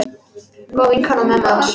Góð vinkona mömmu hans.